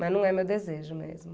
Mas não é meu desejo mesmo.